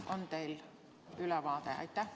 On teil ülevaade?